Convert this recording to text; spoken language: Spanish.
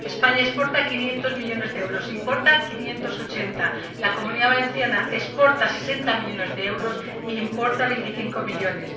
España exporta 500 millones de euros, importa 580 millones. La Comunidad Valenciana exporta 60 millones de euros e importa 25 millones.